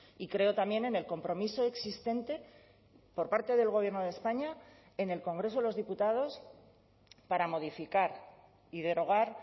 y creo también en el compromiso existente por parte del gobierno de españa en el congreso de los diputados para modificar y derogar